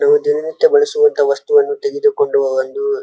ನಾವು ದಿನ ನಿತ್ಯ ಬಳಸುವಂಥ ವಸ್ತುವನ್ನು ತೆಗೆದು ಕೊಂಡು ಒಂದು --